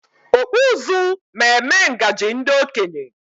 Okpu ụzụ ma eme ngaji ndị okenye